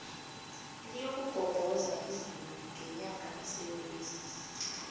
liyokugobhoza izulu ngenyanga kasewula